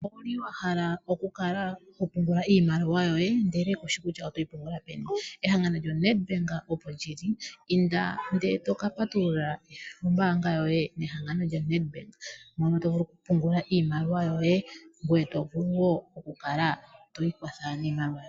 Owuli wahala okukala to pungula iimaliwa yoye ndele kushi kutya otoyi pungula peni ehangano lyo Nedbank opo lili inda ndele to kapatulula ombaanga yoye nehangano lya Nedbank mono tovulu oku pungula iimaliwa yoye ngoye tovulu woo okukala twiikwatha.